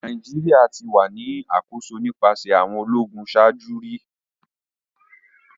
Nigeria ti wa ni akoso nipasẹ awọn ologun ṣaaju ki o to